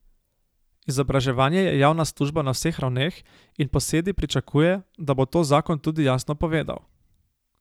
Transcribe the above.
Izobraževanje je javna služba na vseh ravneh in Posedi pričakuje, da bo to zakon tudi jasno povedal.